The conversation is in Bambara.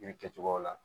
Yiri kɛcogoyaw la